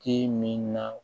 K'i min na